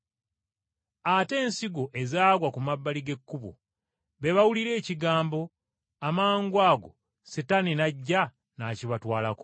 Ate ensigo ezaagwa ku mabbali g’ekkubo, be bawulira ekigambo, amangwago Setaani n’ajja n’akibatwalako.